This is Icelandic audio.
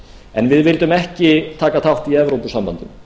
en við vildum ekki taka þátt í evrópusambandinu